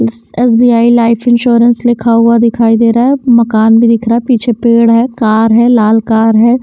SBI life insurance लिखा हुआ दिखाई दे रहा है मकान भी दिख रहा है पीछे पेड़ है कार है लाल कार है।